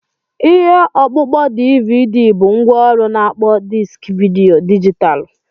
Ihe ọkpụkpọ DVD bụ ngwaọrụ na-akpọ diski vidiyo dijitalụ.